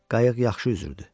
Qayıq yaxşı üzürdü.